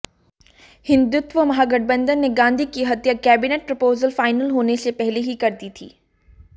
हिंदुत्व महागठबंधन ने गांधी की हत्या कैबिनेट प्रपोजल फाइनल होने से पहले कर दी थी